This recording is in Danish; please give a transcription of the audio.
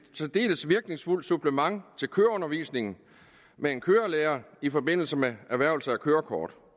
særdeles virkningsfuldt supplement til køreundervisning med en kørelærer i forbindelse med erhvervelse af kørekort